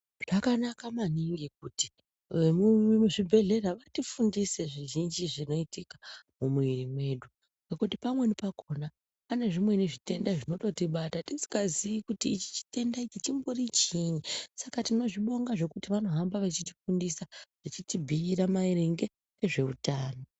Zvakanaka maningi kuti vemuzvibhedhlera vatifundise zvizhinji zvinoitika mumuiri mwedu ngekuti pamweni pakhona panezvimweni zvitenda zvinototibata tisikaziyi kuti ichi chitenda chimbori chiinyi saka tinozvibonga zvekuti vanohamba vachitifundisa vachitibhuyira maringe ngezveutano.